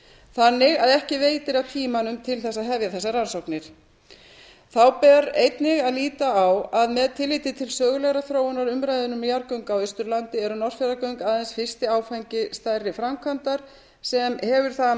þannig að ekki veitir af tímanum til þess að hefja þessar rannsóknir þá ber einnig að líta á að með tilliti til sögulegrar þróunar umræðunnar um jarðgöng á austurlandi eru norðfjarðargöng aðeins fyrsti áfangi stærri framkvæmdar sem hefur það að